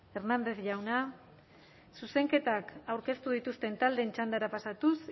eskerrik asko hernández jauna zuzenketak aurkeztu dituzten taldeen txandara pasatuz